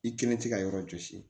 I kelen tɛ ka yɔrɔ jɔsi